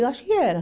Eu acho que era.